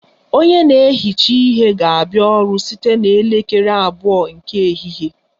Onye na-ehicha ihe ga-abịa ọrụ site na elekere abụọ nke ehihie